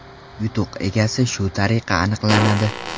Yutuq egasi shu tariqa aniqlanadi.